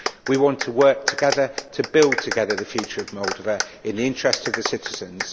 We want to work together to build together the future of Moldova in the interests of the citizens.